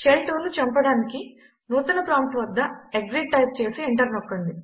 shell 2ను చంపడానికి నూతన ప్రాంప్ట్ వద్ద ఎక్సిట్ టైప్ చేసి ఎంటర్ నొక్కండి